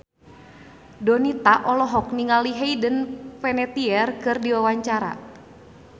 Donita olohok ningali Hayden Panettiere keur diwawancara